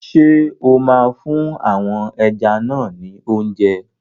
Ṣé o máa fún àwọn ẹja náà ni óúnjẹ?